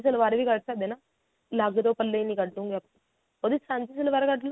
ਸਲਵਾਰ ਵੀ ਕੱਢ ਸਕਦੇ ਆ ਨਾ ਅਲੱਗ ਤੋਂ ਪੱਲੇ ਹੀ ਨਹੀਂ ਕੱਢਦੇ ਹੁੰਦੇ ਨਾ ਉਹਦੀ ਸਾਂਝੀ ਸਲਵਾਰ ਕੱਢ ਲਓ